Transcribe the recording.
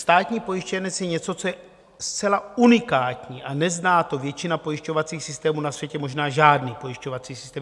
Státní pojištěnec je něco, co je zcela unikátní a nezná to většina pojišťovacích systémů na světě, možná žádný pojišťovací systém.